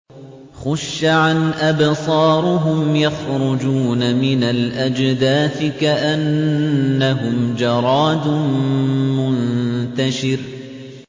خُشَّعًا أَبْصَارُهُمْ يَخْرُجُونَ مِنَ الْأَجْدَاثِ كَأَنَّهُمْ جَرَادٌ مُّنتَشِرٌ